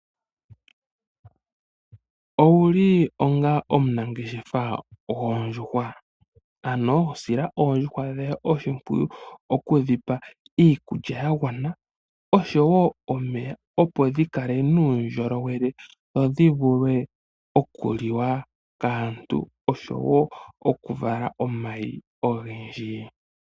Owuli onga omunangeshefa gwoondjuhwa? Ano, sila oondjuhwa dhoye oshipwiyu oku dhi pa iikulya ya gwana osho woo omeya opo dhi kale nuundjolowele dho dhi vule oku liwa kaantu osho woo oku vala omayi ogendji.